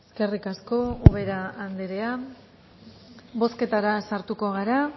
eskerrik asko ubera anderea bozketara sartuko gara